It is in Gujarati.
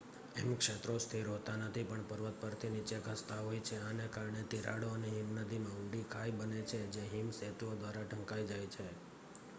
હિમક્ષેત્રો સ્થિર હોતાં નથી પણ પર્વત પરથી નીચે ધસતાં હોય છે આને કારણે તિરાડો અને હિમનદીમાં ઊંડી ખાઈ બને છે જે હિમ સેતુઓ દ્વારા ઢંકાઈ જઈ શકે છે